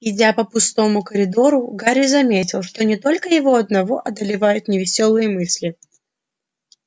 идя по пустому коридору гарри заметил что не только его одного одолевают невесёлые мысли